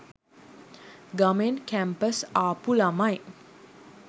ගමෙන් campus ආපු ළමයි.